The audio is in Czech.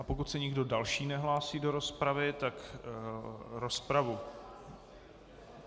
A pokud se nikdo další nehlásí do rozpravy, tak rozpravu...